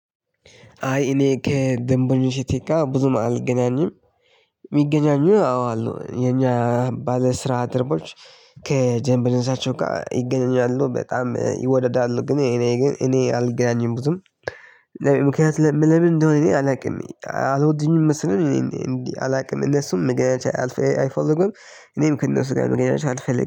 አይ እኔ ከደንበኞቼ ጋር ብዙም አልገናኝም። የሚገናኙ አዎ አሉ የኛ ባለ ስራ ባልደረቦች። ከጀምብ ልብሳቸው ጋር ይገኛሉ በጣም ይወደዳሉ ግን እኔ ግን እኔ አልገናኝም ብዙም። ምክንያት ለምን እንደሆነ እኔ አላውቅም። አልወድኝም መሰለኝ እኔ እንዴ አላውቅም። እነሱም መገናኛ አይፈልጉም እኔም ከእነሱ ጋር መገናኛነት አልፈልግም